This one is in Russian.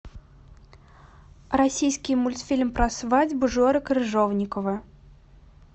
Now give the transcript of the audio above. российский мультфильм про свадьбу жоры крыжовникова